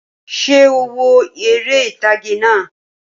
Ṣé o wo eré ìtàgé náà?